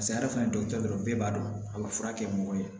ale fana ye dɔgɔtɔrɔ dɔ bɛɛ b'a dɔn a bɛ furakɛ mɔgɔ ye